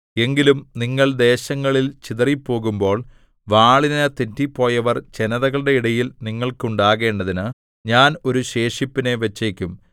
എങ്കിലും നിങ്ങൾ ദേശങ്ങളിൽ ചിതറിപ്പോകുമ്പോൾ വാളിനു തെറ്റിപ്പോയവർ ജനതകളുടെ ഇടയിൽ നിങ്ങൾക്ക് ഉണ്ടാകേണ്ടതിന് ഞാൻ ഒരു ശേഷിപ്പിനെ വച്ചേക്കും